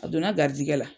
A donna garizigɛ la